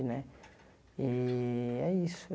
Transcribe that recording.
Né e é isso.